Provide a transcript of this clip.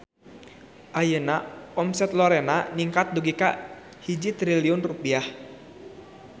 Ayeuna omset Lorena ningkat dugi ka 1 triliun rupiah